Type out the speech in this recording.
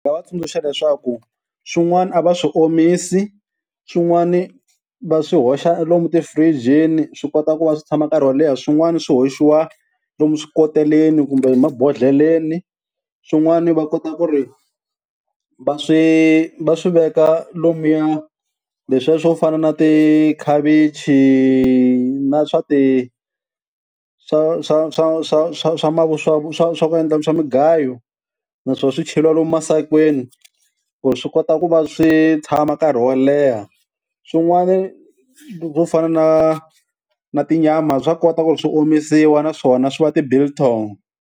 Nga va tsundzuxa leswaku swin'wani a va swi omisi, swin'wani va swi hoxa lomu tifirijini swi kota ku va swi tshama nkarhi wo leha, swin'wana swi hoxiwa lomu swikoteleni kumbe mabodhleleni, swin'wana va kota ku ri va swi va swi veka lomuya leswiya swo fana na tikhavichi na swa ti swa swa swa swa swa mavuswa swa swa swa ku endla swa migayo naswona swicheriwa lomu emasakeni ku swi kota ku va swi tshama nkarhi wo leha, swin'wana swo fana na na tinyama bya kota ku ri swi omisiwa naswona swi va ti-biltong.